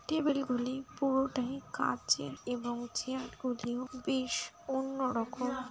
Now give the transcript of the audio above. Table গুলি পুরোটাই কাঁচের এবং চেয়ার গুলিও বেশ অন্য রকম ।